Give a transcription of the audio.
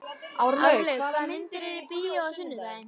Árlaug, hvaða myndir eru í bíó á sunnudaginn?